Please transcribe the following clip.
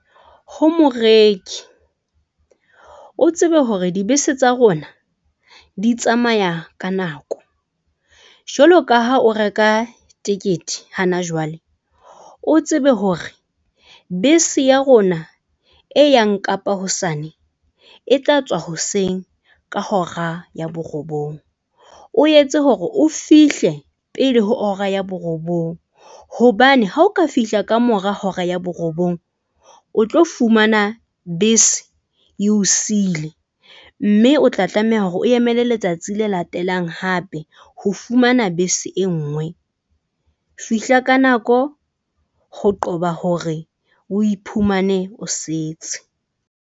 Ho moreki o tsebe hore dibese tsa rona di tsamaya ka nako, jwaloka ha o reka tekete hana jwale o tsebe hore bese ya rona e yang kapa hosane e tla tswa hoseng. Ka hora ya borobong, o etse hore o fihle pele ho hora ya borobong hobane ha o ka fihla ka mora hora ya borobong. O tlo fumana bese eo siile, mme o tla tlameha hore o emele letsatsi le latelang. Hape ho fumana bese e nngwe. Fihla ka nako, ho qoba hore o iphumane o setse.